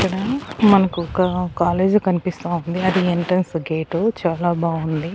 ఇక్కడ మనకు ఒక కాలేజీ కనిపిస్తా ఉంది అది ఎంట్రెన్స్ గేటు చాలా బావుంది.